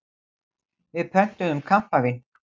Við pöntuðum kampavín.